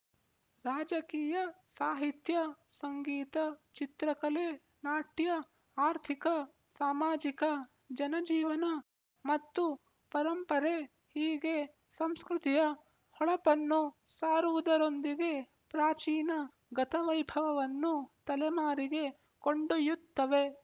ರಾಜಕೀಯ ಸಾಹಿತ್ಯ ಸಂಗೀತ ಚಿತ್ರಕಲೆ ನಾಟ್ಯ ಆರ್ಥಿಕ ಸಾಮಾಜಿಕ ಜನಜೀವನ ಮತ್ತು ಪರಂಪರೆ ಹೀಗೆ ಸಂಸ್ಕೃತಿಯ ಹೊಳಪನ್ನು ಸಾರುವುದರೊಂದಿಗೆ ಪ್ರಾಚೀನ ಗತವೈಭವವನ್ನು ತಲೆಮಾರಿಗೆ ಕೊಂಡೊಯ್ಯುತ್ತವೆ